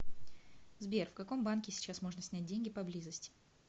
сбер в каком банке сейчас можно снять деньги поблизости